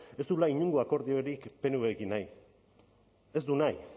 ez duela inongo akordiorik pnvrekin nahi ez du nahi